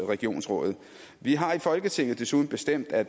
regionsrådet vi har i folketinget desuden bestemt at